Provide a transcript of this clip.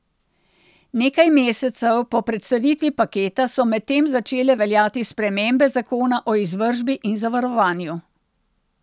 Nekaj mesecev po predstavitvi paketa so medtem začele veljati spremembe zakona o izvršbi in zavarovanju.